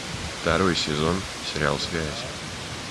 второй сезон сериал связь